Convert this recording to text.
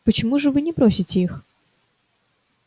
почему же вы не бросите их